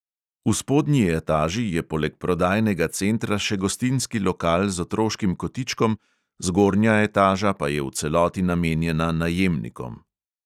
V spodnji etaži je poleg prodajnega centra še gostinski lokal z otroškim kotičkom, zgornja etaža pa je v celoti namenjena najemnikom.